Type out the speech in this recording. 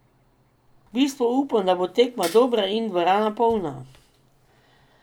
V bistvu upam, da bo tekma dobra in dvorana polna.